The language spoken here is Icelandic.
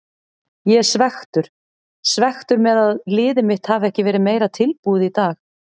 Ég er svekktur, svekktur með að liðið mitt hafi ekki verið meira tilbúið í dag.